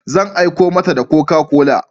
Zan aiko mata da Coca-Cola.